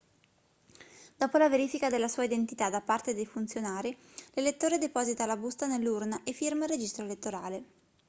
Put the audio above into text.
dopo la verifica della sua identità da parte dei funzionari l'elettore deposita la busta nell'urna e firma il registro elettorale